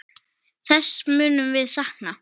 Þess munum við sakna.